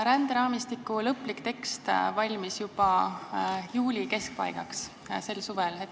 Ränderaamistiku lõplik tekst valmis juba juuli keskpaigaks.